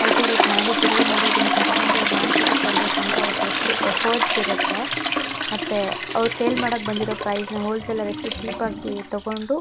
cultivate ಮಾಡಿ grow ಮಾಡಿ ಅದನ್ನ ಕಟ್ ಮಾಡಿ ಅವ್ರು ಮಾರ್ಕೆಟ್ ತರ್ಬೇಕಂದ್ರೆ ಅವ್ರುದ್ ಎಷ್ಟು ಎಫರ್ಟ್ಸ್ ಇರುತ್ತೆ ಮತ್ತೆ ಅವ್ರು ಸೇಲ್ ಮಾಡಕ್ಬಂದಿರೊ ಪ್ರೈಸ್ ನ ಹೋಲ್ಸೇಲ್ ಅಲ್ಲಿ ಎಷ್ಟು ಚೀಪ್ ಆಗಿ ತಗೊಂಡು--